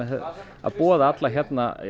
að boða alla hérna